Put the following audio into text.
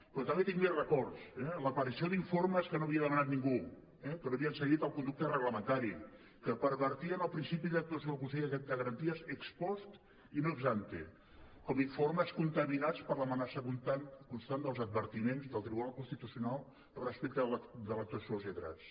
però també tinc més records eh l’aparició d’informes que no havia demanat ningú que no havien seguit el conducte reglamentari que pervertien el principi d’actuació del consell de garanties ex post i no ex ante com informes contaminats per l’amenaça constant dels advertiments del tribunal constitucional respecte de l’actuació dels lletrats